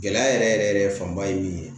Gɛlɛya yɛrɛ yɛrɛ yɛrɛ fanba ye min ye